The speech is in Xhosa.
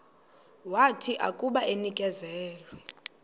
wathi akuba enikezelwe